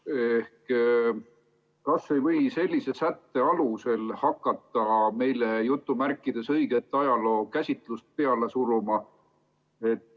Ehk kas ei või sellise sätte alusel hakata meile "õiget" ajalookäsitlust peale suruma?